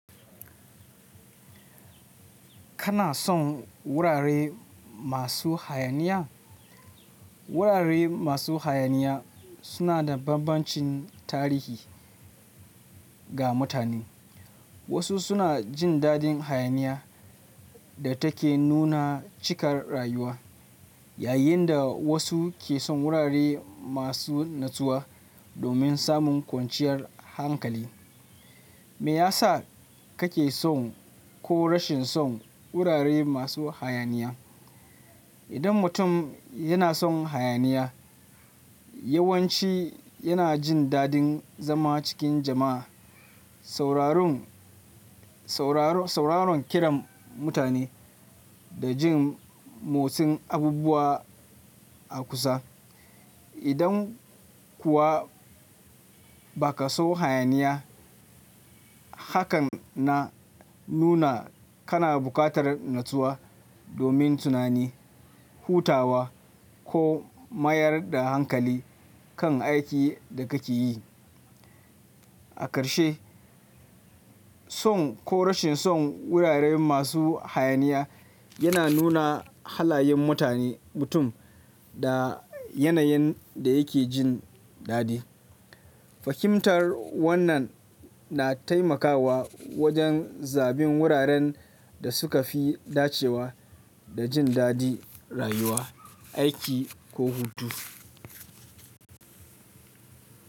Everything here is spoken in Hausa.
Kana son wurare masu hayaniya? Wurare masu hayaniya suna da bambancin tarihi ga mutane. Wasu suna jin daɗin hayaniya da ta ke nuna cikar rayuwa, yayin da wasu ke son wurare masu nutsuwa domin samun kwanciyar hankali. Me ya sa kake son ko rashin son wurare masu hayaniya? Idan mutum yana son hayaniya, yawanci yana jin daɗin zama cikin jama'a, sauraron, sauraron kiram mutane da jin motsin abubuwa a kusa. Idan kuwa ba ka son hayaniya, hakan na nuna kana bukatar natsuwa domin tunani, hutawa ko mayar da hankali kan aikin da kake yi. A ƙarshe, son ko rashin son wurare masu hayaniya yana nuna halayen mutane, mutum da yanayin da yake jin daɗi. Fahimtar wannan na taimakawa wajen zaɓen wuraren da suka fi dacewa da jin daɗin rayuwa, aiki ko hutu.